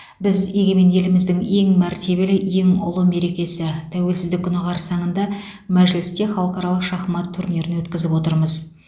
біз егемен еліміздің ең мәртебелі ең ұлы мерекесі тәуелсіздік күні қарсаңында мәжілісте халықаралық шахмат турнирін өткізіп отырмыз